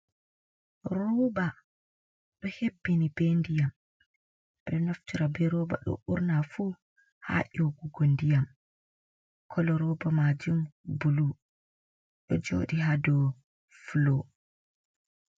Rooba do hebbini be ndiyam, bedo naftara be ruba ɗo burnafu haa nyogugo ndiyam, kolo roba majun bulu ɗo jodi ha do fulo.